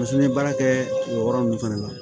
n ye baara kɛ o yɔrɔ ninnu fana na